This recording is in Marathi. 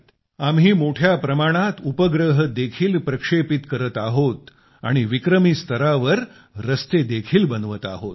आम्ही मोठ्या प्रमाणात उपग्रह देखील प्रक्षेपित करत आहोत आणि विक्रमी स्तरावर रस्ते देखील बनवत आहोत